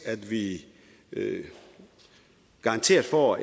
at vi garanteret får